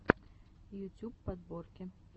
ютюб подборки